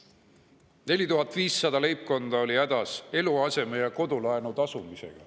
4500 leibkonda on hädas eluaseme‑ või kodulaenu tasumisega.